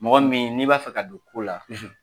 Mɔgɔ min n'i b'a fɛ ka don ko la, .